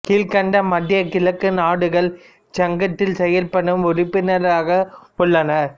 கீழ்கண்ட மத்திய கிழக்கு நாடுகள் இச்சங்கத்தில் செயல்படும் உறுப்பினர்களாக உள்ளனர்